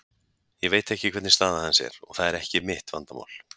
Ég veit ekki hvernig staða hans er og það er ekki mitt vandamál.